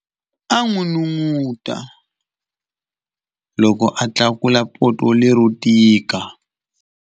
A n'unun'uta loko a tlakula poto lero tika.